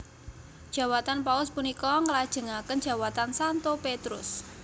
Jawatan Paus punika nglajengaken jawatan Santo Petrus